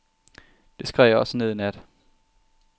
Det skrev jeg også ned i nat.